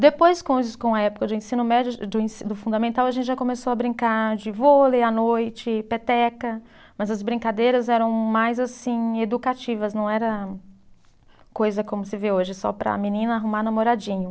Depois com os, com a época do ensino médio, do ensi, do fundamental, a gente já começou a brincar de vôlei à noite, peteca, mas as brincadeiras eram mais assim educativas, não era coisa como se vê hoje, só para a menina arrumar namoradinho.